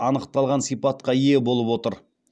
анықталған сипатқа ие болып отыр